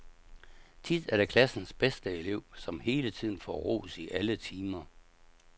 Tit er det klassens bedste elev, som hele tiden får ros i alle timer.